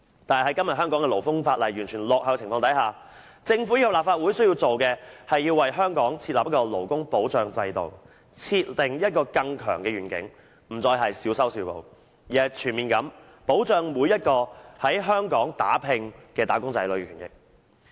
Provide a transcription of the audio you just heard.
但是，在今天香港勞工法例完全落後的情況下，政府及立法會需要做的，是要為香港設立勞工保障制度，設定一個更強的願景，不再是小修小補，而是全面地保障每一個在香港打拼的"打工仔女"的權益。